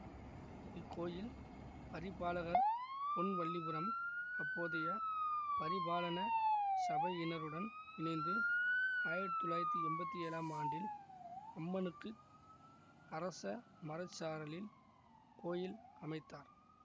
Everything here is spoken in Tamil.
இக்கோயில் பரிபாலகர் பொன்வல்லிபுரம் அப்போதைய பரிபாலன சபையினருடன் இணைந்து ஆயிரத்தி தொள்ளாயிரத்தி எம்பத்தி ஏழாம் ஆண்டில் அம்மனுக்கு அரச மரச்சாரலில் கோயில் அமைத்தார்